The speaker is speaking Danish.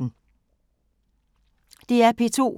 DR P2